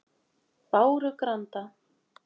Bárugranda